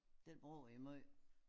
Det bruger i meget?